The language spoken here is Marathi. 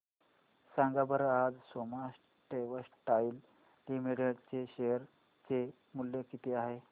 सांगा बरं आज सोमा टेक्सटाइल लिमिटेड चे शेअर चे मूल्य किती आहे